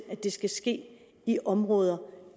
det ske i områder